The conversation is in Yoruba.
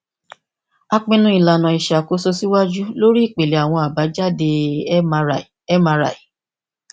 a pinnu ilana iṣakoso siwaju lori ipilẹ awọn abajade mri mri